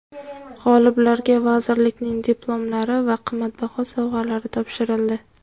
G‘oliblarga vazirlikning diplomlari va qimmatbaho sovg‘alar topshirildi.